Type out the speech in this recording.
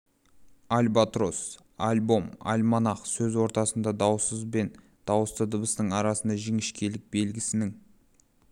альбатрос альбом альманах сөз ортасында дауыссыз бен дауысты дыбыстың арасындағы жіңішкелік белгісінің